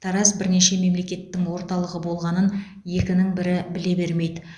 тараз бірнеше мемлекеттің орталығы болғанын екінің бірі біле бермейді